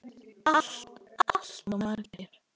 Allt of margir.